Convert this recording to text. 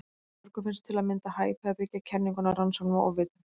Mörgum finnst til að mynda hæpið að byggja kenninguna á rannsóknum á ofvitum.